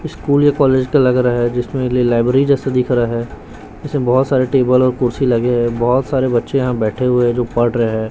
School या college का लग रहा है जिसमें लाइब्रेरी जैसा दिख रहा है जिसमें बहुत सारे टेबल और कुर्सी लगे हैं बहुत सारे बच्चे यहां बैठे हुए हैं जो पढ़ रहे हैं।